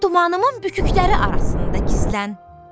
Dumanımın bükükləri arasında gizlən.